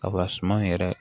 Sabula suman yɛrɛ